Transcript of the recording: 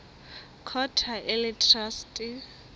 court ha e le traste